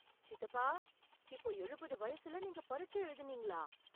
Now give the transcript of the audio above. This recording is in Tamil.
சித்தப்பா, இப்போ எழுபது வயசுல நீங்க பரிட்சை எழுதினீங்களா...